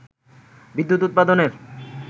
বিদ্যুৎ উৎপাদনের